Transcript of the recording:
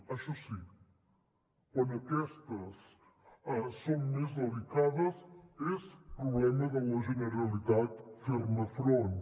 això sí quan aquestes són més delicades és problema de la generalitat fer hi front